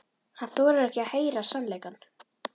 Hann þolir ekki að heyra sannleikann.